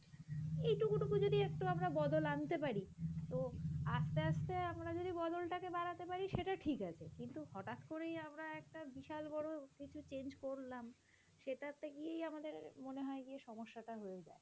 এই টুকু টুকু যদি একটু আমরা বদল আনতে পারি তো আস্তে আস্তে আমরা যদি বদলটাকে বাড়াতে পারি সেটা ঠিক আছে কিন্তু হঠাৎ করেই আমরা একটা বিশাল বড় কিছু change করলাম সেটা গিয়েই আমাদের মনে হয় গিয়ে সমস্যাটা হয়ে যায়,